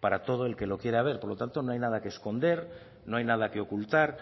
para todo el que lo quiera ver por lo tanto no hay nada que esconder no hay nada que ocultar